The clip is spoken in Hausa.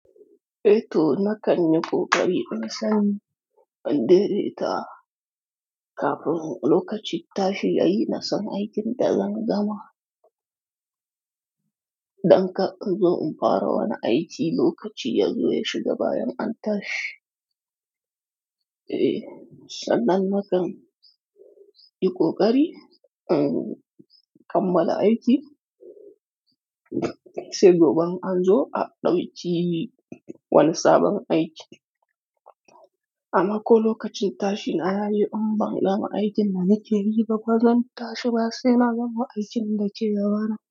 Eh to na ƙanyi ƙo ƙari na san an dede ta kafin lokacin tashi yayi na san aikin da zan gama. Dan ka in zo in fara wani aiki lokaci yazo ya shiga bayan an tashi. Eh sannan nakan yi koƙari in kammala aiki sai gobe in an zo a ɗauki wani sabon aikin. Amma ko lokacin tashi na yayi umban gama aikin da nake yi ba, bazan tashi ba sai na gama aikin da ke gabana.